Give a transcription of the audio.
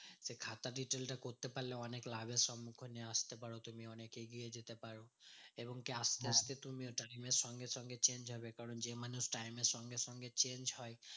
খাতার retail টা করতে পারলে অনেক লাভের সম্মুখীন আসতে পারো। তুমি অনেক এগিয়ে যেতে পারো এবং কি আসতে আসতে তুমি ওটা দিনের সঙ্গে সঙ্গে change হবে কারণ যেই মানুষ time এর সঙ্গে সঙ্গে change হয়